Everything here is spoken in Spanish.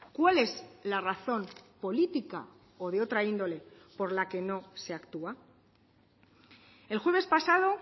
cuál es la razón política o de otra índole por la que no se actúa el jueves pasado